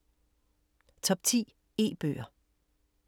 Top 10 e-bøger